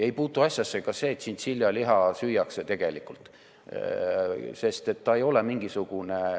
Ei puutu asjasse ka see, et tšintšiljaliha süüakse.